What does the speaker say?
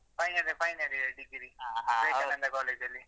Final year final year degree Vivekananda college ಅಲ್ಲಿ.